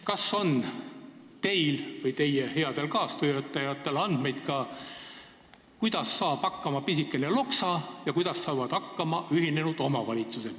Kas teil või teie headel kaastöötajatel on andmeid, kuidas saab hakkama pisikene Loksa ja kuidas saavad hakkama ühinenud omavalitsused?